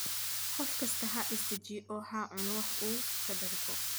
Qof kastaa ha is dejiyo oo ha cuno wax uu ka dhergo